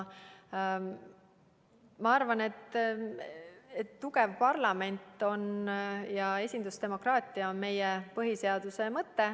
Ma arvan, et tugev parlament ja esindusdemokraatia on meie põhiseaduse mõte.